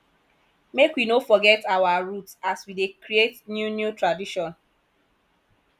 make we no forget our root as we dey create new new tradition